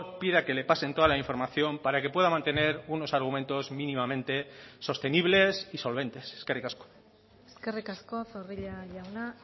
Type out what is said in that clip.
pida que le pasen toda la información para que pueda mantener unos argumentos mínimamente sostenibles y solventes eskerrik asko eskerrik asko zorrilla jauna